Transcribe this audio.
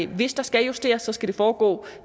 hvis der skal justeres så skal det foregå